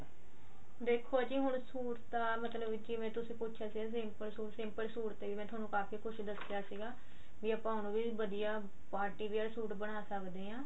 ਦੇਖੋ ਜੀ ਹੁਣ ਸੂਟ ਤਾਂ ਹੁਣ ਕਿਵੇਂ ਤੁਸੀਂ ਪੁੱਛਿਆ ਸੀਗਾ simple ਸੂਟ simple ਸੂਟ ਤੇ ਹੀ ਮੈਂ ਤੁਹਾਨੂੰ ਕਾਫੀ ਕੁੱਝ ਦੱਸਿਆ ਸੀਗਾ ਵੀ ਆਪਾਂ ਉਹਨੂੰ ਵੀ ਵਧੀਆ party wear ਸੂਟ ਬਣਾ ਸਕਦੇ ਆ